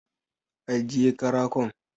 Aje jiye karakon